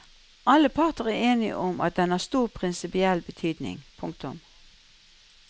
Alle parter er enige om at den har stor prinsipiell betydning. punktum